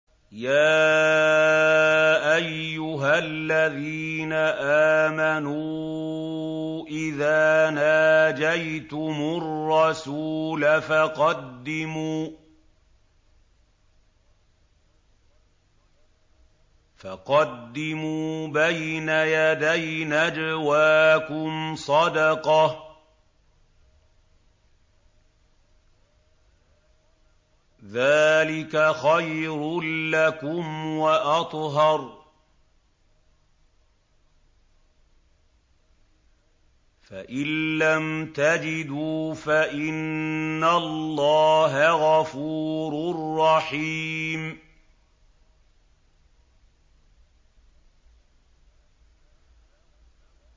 يَا أَيُّهَا الَّذِينَ آمَنُوا إِذَا نَاجَيْتُمُ الرَّسُولَ فَقَدِّمُوا بَيْنَ يَدَيْ نَجْوَاكُمْ صَدَقَةً ۚ ذَٰلِكَ خَيْرٌ لَّكُمْ وَأَطْهَرُ ۚ فَإِن لَّمْ تَجِدُوا فَإِنَّ اللَّهَ غَفُورٌ رَّحِيمٌ